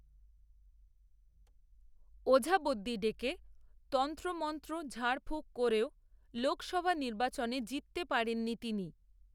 ওঝাবদ্যি ডেকে, তন্ত্রমন্ত্র ঝাড়ফূঁক করেও, লোকসভা নির্বাচনে জিততে পারেননি, তিনি